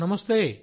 నమస్తే